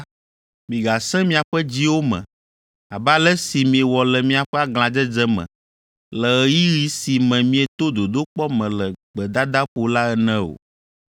migasẽ miaƒe dziwo me abe ale si miewɔ le miaƒe aglãdzedze me, le ɣeyiɣi si me mieto dodokpɔ me le gbedadaƒo la ene o.